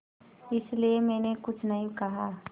इसलिए मैंने कुछ नहीं कहा